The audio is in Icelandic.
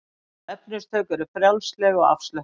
Stíll og efnistök eru frjálsleg og afslöppuð.